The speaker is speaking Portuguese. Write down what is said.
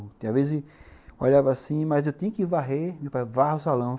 Às vezes, eu olhava assim, mas eu tinha que varrer, meu pai, varra o salão.